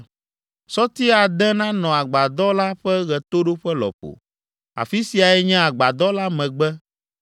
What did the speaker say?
Sɔti ade nanɔ agbadɔ la ƒe ɣetoɖoƒe lɔƒo. Afi siae nye agbadɔ la megbe,